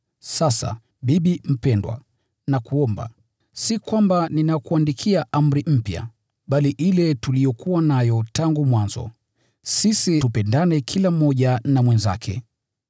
Sasa, bibi mpendwa, si kwamba ninakuandikia amri mpya, bali ile tuliyokuwa nayo tangu mwanzo. Tupendane kila mmoja na mwenzake.